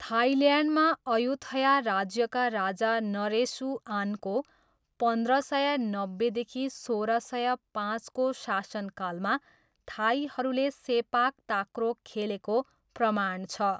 थाइल्यान्डमा, Ayutthaya राज्यका राजा नरेसुआनको पन्ध्र सय नब्बेदेखि सोह्र सय पाँचको शासनकालमा थाईहरूले सेपाक ताक्रो खेलेको प्रमाण छ।